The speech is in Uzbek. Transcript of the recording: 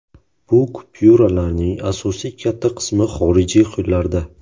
Bu kupyuralarning asosiy katta qismi xorijiy qo‘llarda.